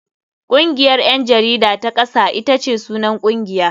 Kungiyar 'yan jarida ta kasa ita ce sunan kungiya.